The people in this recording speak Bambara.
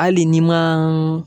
Hali n;i ma